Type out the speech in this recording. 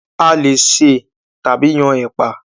A leè sè tàbí yan ẹ̀pà.